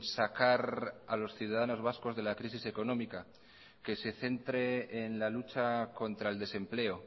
sacar a los ciudadanos vascos de la crisis económica que se centre en la lucha contra el desempleo